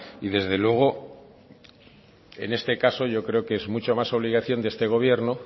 desde luego en este caso yo creo que es mucho más obligación de este gobierno